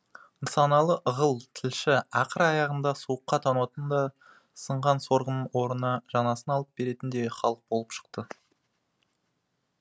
нысаналы ығыл тілші ақыр аяғында суыққа тоңатын да сынған сорғының орнына жаңасын алып беретін де халық болып шықты